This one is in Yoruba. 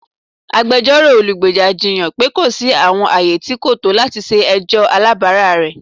Agbẹjọro olugbeja jiyan pe ko si awọn aaye ti ko to lati ṣe ẹjọ alabara rẹ.